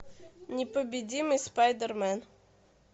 непобедимый спайдермен